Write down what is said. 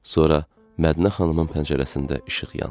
Sonra Mədinə xanımın pəncərəsində işıq yandı.